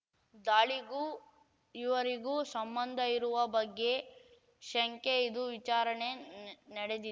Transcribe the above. ದಾಳಿಗೂ ಇವರಿಗೂ ಸಂಬಂಧ ಇರುವ ಬಗ್ಗೆ ಶಂಕೆ ಇದು ವಿಚಾರಣೆ ನಡೆದಿ